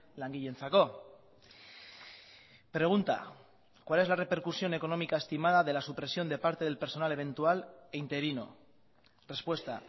langileentzako pregunta cuál es la repercusión económica estimada de la supresión de parte del personal eventual e interino respuesta